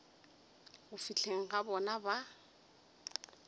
go fihleng ga bona ba